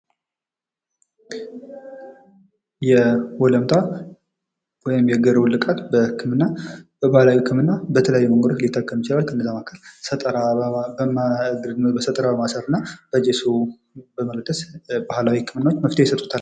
የወለምታ ወይም የእግር ውልቃት በህክምና በባህላዊ ህክምና በተለያዩ መንገዶች ሊጠቀም ይችላል። ከነዛ መካከል በሰጠራ በማሰርና በጀሶ በመለደስ ባህላዊ ህክምና መፍትሄ ይሰጡታል።